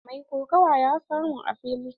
Mai kokawa ya suma a fili.